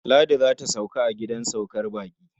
Ladi za ta sauka a gidan saukar baƙi.